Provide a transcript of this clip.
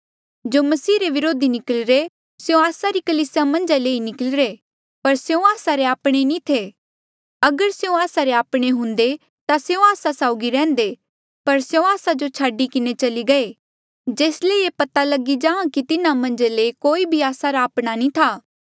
जो मसीह रे व्रोधी निकली रे स्यों आस्सा री कलीसिया मन्झा ले ई निकली रे पर स्यों आस्सा रे आपणे नी थे अगर स्यों आस्सा रे आपणे हुंदे ता स्यों आस्सा साउगी रैहन्दे पर स्यों आस्सा जो छाडी किन्हें चली गये जेस ले ये पता लगी जां कि तिन्हा मन्झ ले कोई भी आस्सा रा आपणा नी था